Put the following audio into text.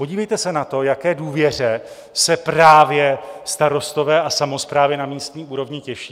Podívejte se na to, jaké důvěře se právě starostové a samosprávy na místní úrovni těší.